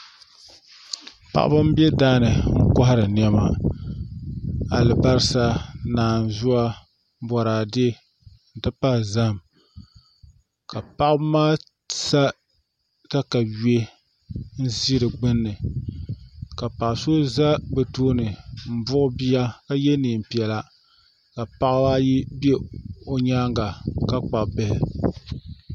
Paɣaba n bɛ daani n kohari niɛma alibarisa naanzuwa Boraadɛ n ti pahi zaham ka paɣaba maa sa katawiya n ʒi di gbunni ka paɣa so ʒɛ bi tooni n buɣi bia ka yɛ neen piɛla ka paɣaba ayi ʒɛ o nyaanga ka kpabi bihi